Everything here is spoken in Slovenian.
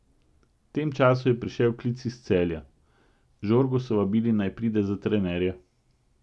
V tem času je prišel klic iz Celja, Žorgo so vabili, naj pride za trenerja.